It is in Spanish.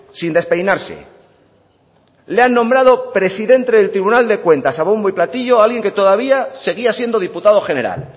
sin despeinarse le han nombrado presidente del tribunal de cuentas a bombo y platillo a alguien que todavía seguía siendo diputado general